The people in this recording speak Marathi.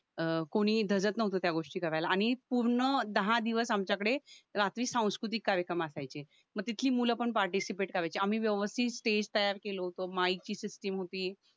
अं कोणी धजत नव्हतं त्या गोष्टी करायला आणि पूर्ण दहा दिवस आमच्याकडे रात्री सांस्कृतिक कार्यक्रम असायचे म तिथली मुलं पण पार्टीसिपेट करायची आम्ही व्यवस्थित स्टेज तयार केलं होतं माईकची सिस्टीम होती